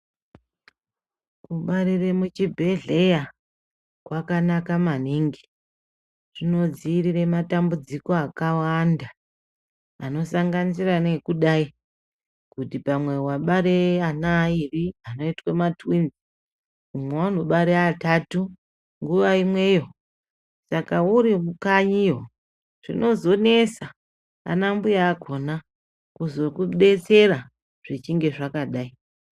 Kubarire muchibhedhleya kwakanaka maningi zvinodziirire matambudziko akawanda anosanganisira neekudayi kuti pamwe wabare ana airi anoitwe matwinzi umwe anobare atatu nguwa imweyo saka uri mukanyiyo zvinozonesa anambuya akona kuzokudetsera zvichinge zvakadai.